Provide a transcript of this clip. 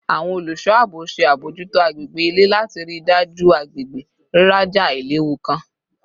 Awọn oluso aabo ṣe abojuto agbegbe ile lati rii daju agbegbe riraja ailewu kan